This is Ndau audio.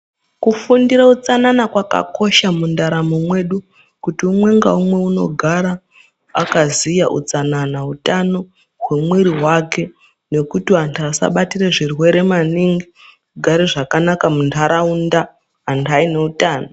Kufundire utsanana kwakakosha mundaramo mwedu kuti umwe ngaumwe unogara akaziya utsanana hutano hwemwiri wake nekuti vantu vasabatire zvirwere maningi vogare zvakanaka mundaraunda antu aineutano.